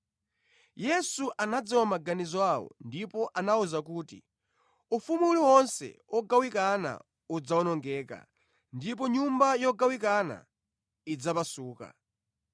Yesu anadziwa maganizo awo ndipo anawawuza kuti, “Ufumu uliwonse wogawikana udzawonongeka, ndipo nyumba yogawikana idzapasuka.